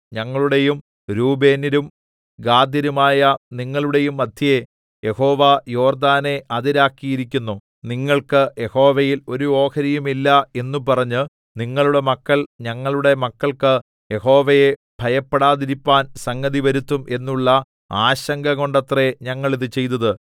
ഞങ്ങളുടെയും രൂബേന്യരും ഗാദ്യരുമായ നിങ്ങളുടെയും മദ്ധ്യേ യഹോവ യോർദ്ദാനെ അതിരാക്കിയിരിക്കുന്നു നിങ്ങൾക്ക് യഹോവയിൽ ഒരു ഓഹരിയുമില്ല എന്ന് പറഞ്ഞ് നിങ്ങളുടെ മക്കൾ ഞങ്ങളുടെ മക്കൾക്ക് യഹോവയെ ഭയപ്പെടാതിരിപ്പാൻ സംഗതിവരുത്തും എന്നുള്ള ആശങ്കകൊണ്ടത്രെ ഞങ്ങൾ ഇത് ചെയ്തത്